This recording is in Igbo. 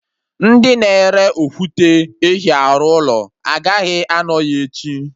Ndị na-ere okwute ehi arụ ụlọ agaghị anọ ya echi